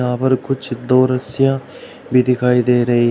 और कुछ दो रस्सियां भी दिखाई दे रही है।